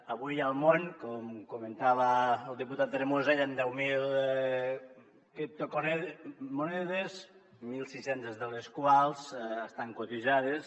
avui al món com comentava el diputat tremosa hi han deu mil criptomonedes mil sis cents de les quals estan cotitzades